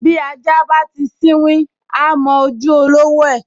Bí ajá bá ti sínwín, á m’ojú olówó rẹ̀